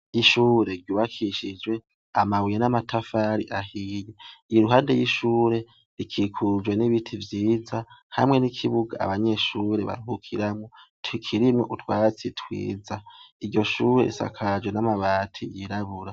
Ishure ryubakishijwe amabuye n'amatafari ahiye, iruhande y'ishure, rikikujwe n'ibiti vyiza hamwe n'ikibuga abanyeshure baruhukiramwo kirimwo utwatsi twiza, iryo shure risakajwe n'amabati yirabura.